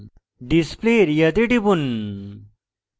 display area তে টিপুন